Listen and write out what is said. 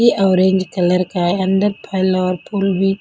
Orange colour का अंदर फल और फूल भी.